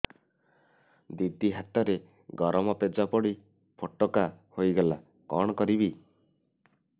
ଦିଦି ହାତରେ ଗରମ ପେଜ ପଡି ଫୋଟକା ହୋଇଗଲା କଣ କରିବି